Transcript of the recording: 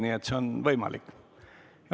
Nii et see on võimalik.